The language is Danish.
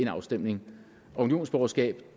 afstemning unionsborgerskabet